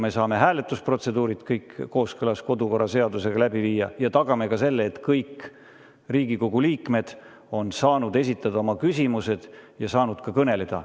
Me saame hääletusprotseduurid kõik kooskõlas kodukorraseadusega läbi viia ja tagame ka selle, et kõik Riigikogu liikmed on saanud esitada oma küsimused ja saanud ka kõneleda.